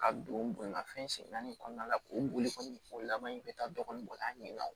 Ka don bonya fɛn sen naani in kɔnɔna la k'o boli o laban in bɛ taa dɔ ɲini wa